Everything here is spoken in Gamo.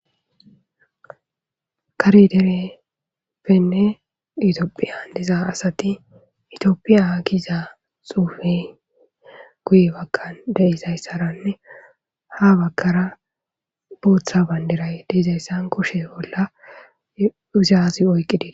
Karedereppenne itiopphiya diza asati itioppiya giiza xuufe guye bagka deizayssaranne ha bakara buutha bayndiray deizayssan kushe bolla uzaazi oyqqidii.